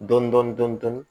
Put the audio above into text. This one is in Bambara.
Dɔndɔni dɔn dɔni